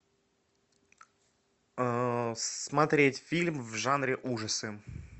смотреть фильм в жанре ужасы